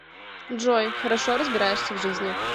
джой хорошо разбираешься в жизни